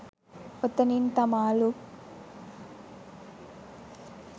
ඔතනින් තමා ලුක්